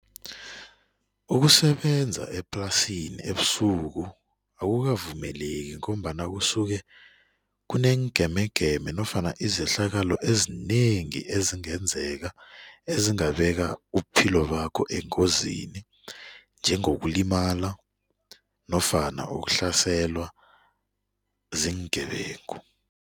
Ukusebenza eplasini ebusuku akukavumeleki ngombana kusuke kuneengemegeme nofana izehlakalo ezinengi ezingenzeka, ezingabeka ubuphilo bakho engozini njengokulimala nofana ukuhlaselwa ziingebengu.